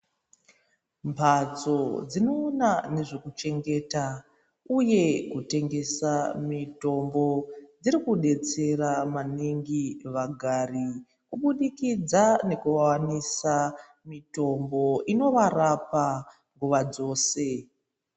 Mbatso dzinoona nezvekuchengeta uye kutengesa mitombo dzirikudetsera maningi vagari kubudikidza ngekuvawanisa mitombo inovarapa nguva dzose.